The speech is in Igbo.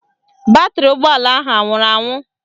Batrị ụgbọala ahụ anwụrụ anwụ?